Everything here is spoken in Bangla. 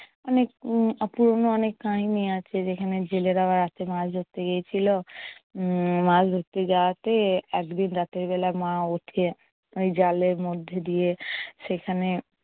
অনেক উম পুরনো অনেক কাহিনী আছে যেখানে জেলেরা রাত্রিবেলা মাছ ধরতে গিয়েছিলো উম মাছ ধরতে যাওয়াতে একদিন রাতের বেলাই মা উঠে জলের মধ্যে দিয়ে সেখানে